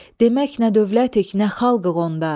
demək nə dövlətik, nə xalqıq onda.